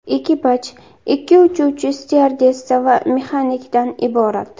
Ekipaj ikki uchuvchi, styuardessa va mexanikdan iborat.